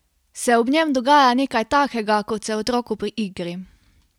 Se ob njem dogaja nekaj takega, kot se otroku pri igri?